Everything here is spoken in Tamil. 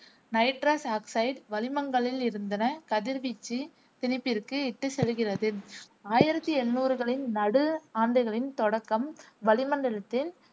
நைட்ரஸ் ஆக்சைடு வளிமங்களில் இருந்தன கதிர்வீச்சு திணிப்பிற்கு இட்டுச் செல்கிறது. ஆயிரத்தி எழுநூறுகளின் நடு ஆண்டுகளின் தொடக்கம் வளிமண்டலத்தில்